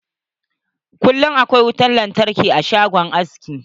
Kullum akwai wutan lantarki a shagon aski.